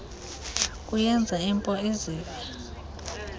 kuyenza inpo izive